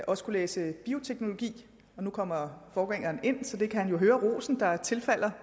også kunne læse bioteknologi og nu kommer forgængeren ind og så han kan jo høre den ros der tilfalder